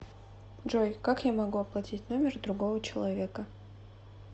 джой как я могу оплатить номер другого человека